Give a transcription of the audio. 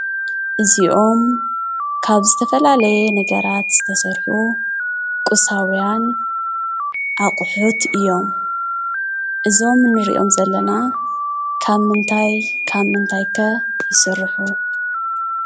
እዚኦም ካብ ዝተፈላለየ ነገራት ዝተሰርሑ ቑሳውያን አቑሑት እዮም፡፡ እዞም እንሪኦም ዘለና ካብ ምንታይ ካብ ምንታይ ኸ ይስርሑ?